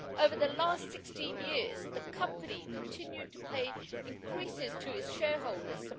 Over the last 16 years, the company continued to pay increases to its shareholders.